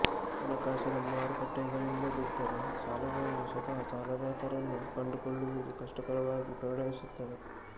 ಹಣಕಾಸಿನ ಮಾರುಕಟ್ಟೆಗಳಿಲ್ಲದಿದ್ದರೆ ಸಾಲಗಾರರು ಸ್ವತಃ ಸಾಲದಾತರನ್ನು ಕಂಡುಕೊಳ್ಳುವುದು ಕಷ್ಟಕರವಾಗಿ ಪರಿಣಮಿಸುತ್ತದೆ